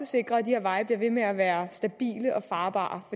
sikrer at de her veje bliver ved med at være stabile og farbare